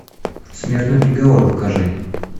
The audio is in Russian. смертный приговор покажи